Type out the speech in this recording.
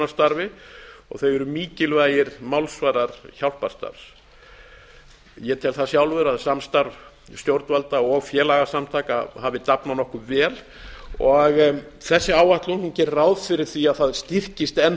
fjáröflunarstarfi og þau eru mikilvægir málsvarar hjálparstarfs ég tel það sjálfur að samstarf stjórnvalda og félagasamtaka hafi dafnað nokkuð vel og þessi áætlun gerir ráð fyrir því að það styrkist enn